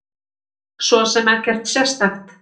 Svo sem ekkert sérstakt.